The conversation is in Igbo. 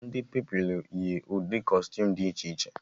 Ndị Pupilụ yi ụdị kọstuum dị iche iche